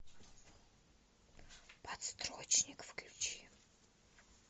подстрочник включи